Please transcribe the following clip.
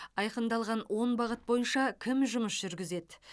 айқындалған он бағыт бойынша кім жұмыс жүргізеді